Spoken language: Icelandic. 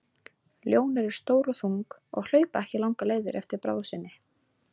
Ljón eru stór og þung og hlaupa ekki langar leiðir á eftir bráð sinni.